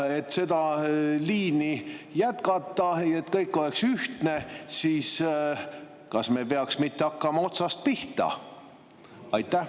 Et seda liini jätkata, et kõik oleks ühtne, kas me ei peaks mitte hakkama otsast pihta?